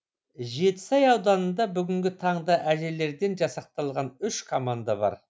жетісай ауданында бүгінгі таңда әжелерден жасақталған үш команда бар